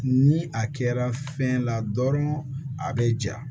Ni a kɛra fɛn la dɔrɔn a be ja